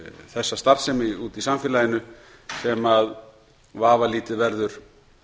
þessa starfsemi úti í samfélaginu sem vafalítið verður